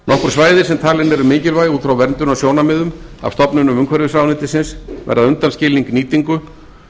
svæði sem talin eru mikilvæg út frá verndunarsjónarmiðum af stofnunum umhverfisráðuneytisins verða undanskilin nýtingu